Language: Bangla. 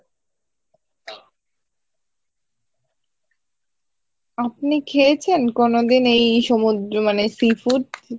আপনি খেয়েছেন কোনোদিন এই সমুদ্র মানে sea food?